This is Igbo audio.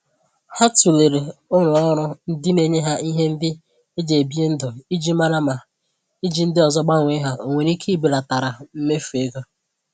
Ha tụlere ulọọrụ ndị na-enye ha ihe ndị e ji ebi ndụ iji mara ma iji ndị ọzọ gbanwee ha o nwere ike ibelatara mmefu ego.